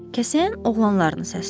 Kəsəyən oğlanlarını səsləyir.